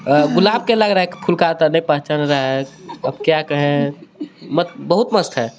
अ गुलाब के लग रहा हे फूल का तड़े पहचान रहे हे अब क्या कहे मत बहुत मस्त हे.